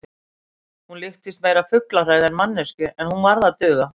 Hún líktist meira fuglahræðu en manneskju, en hún varð að duga.